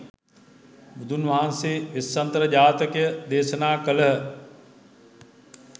බුදුන්වහන්සේ වෙස්සන්තර ජාතකය දේශනා කළහ.